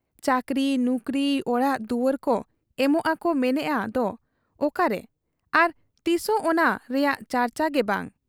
ᱪᱟᱹᱠᱨᱤ ᱱᱩᱠᱨᱤ, ᱚᱲᱟᱜ ᱫᱩᱣᱟᱹᱨ ᱠᱚ ᱮᱢᱚᱜ ᱟᱠᱚ ᱢᱮᱱᱮᱜ ᱟ ᱫᱚ ᱚᱠᱟᱨᱮ ᱟᱨ ᱛᱤᱥᱚᱜ ᱚᱱᱟ ᱨᱮᱭᱟᱜ ᱪᱟᱨᱪᱟ ᱜᱮ ᱵᱟᱝ ᱾